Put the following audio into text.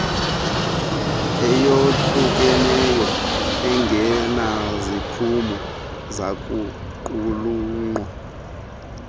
eyohlukeneyo engenaziphumo zakuqulunqwa